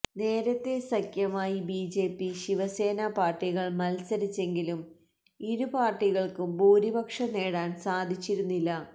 നേരത്തെ സഖ്യമായി ബിജെപി ശിവസേന പാര്ട്ടികള് മത്സരിച്ചെങ്കിലും ഇരുപാര്ട്ടികള്ക്കും ഭൂരിപക്ഷം നേടാന് സാധിച്ചിരുന്നില്ല